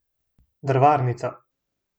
Drvarnica.